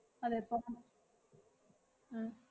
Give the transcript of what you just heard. അതെ ഉം